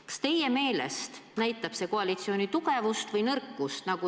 Kas teie meelest näitab see koalitsiooni tugevust või nõrkust?